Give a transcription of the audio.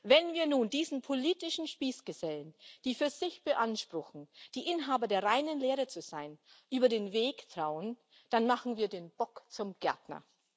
Wenn wir nun diesen politischen Spießgesellen, die für sich beanspruchen, die Inhaber der reinen Lehre zu sein, über den Weg trauen, dann machen wir den Bock zum Gärtner.